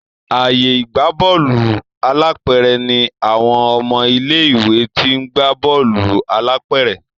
ààyè ìgbà Bọ́ọ̀lù alápẹ̀rẹ̀ ní àwọn ọmọ ilé ìwé t'in gbà Bọ́ọ̀lù alápẹ̀rẹ̀.